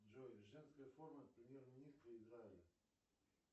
джой женская форма премьер министра израиля